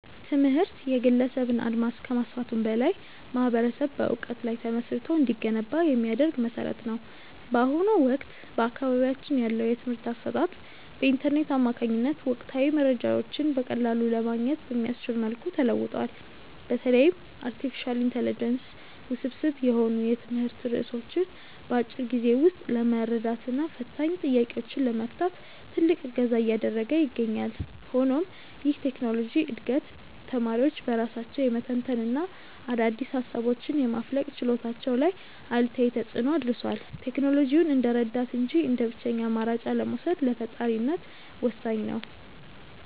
ትምህርት የግለሰብን አድማስ ከማስፋቱም በላይ ማኅበረሰብ በዕውቀት ላይ ተመስርቶ እንዲገነባ የሚያደርግ መሠረት ነው። በአሁኑ ወቅት በአካባቢያችን ያለው የትምህርት አሰጣጥ በኢንተርኔት አማካኝነት ወቅታዊ መረጃዎችን በቀላሉ ለማግኘት በሚያስችል መልኩ ተለውጧል። በተለይም አርቲፊሻል ኢንተለጀንስ ውስብስብ የሆኑ የትምህርት ርዕሶችን በአጭር ጊዜ ውስጥ ለመረዳትና ፈታኝ ጥያቄዎችን ለመፍታት ትልቅ እገዛ እያደረገ ይገኛል። ሆኖም ይህ የቴክኖሎጂ ዕድገት ተማሪዎች በራሳቸው የመተንተንና አዳዲስ ሃሳቦችን የማፍለቅ ችሎታቸው ላይ አሉታዊ ተፅእኖ አድርሷል። ቴክኖሎጂውን እንደ ረዳት እንጂ እንደ ብቸኛ አማራጭ አለመውሰድ ለፈጣሪነት ወሳኝ ነው።